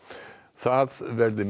það verði